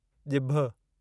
ॼिभ